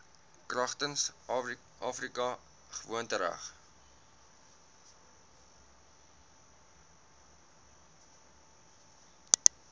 kragtens afrika gewoontereg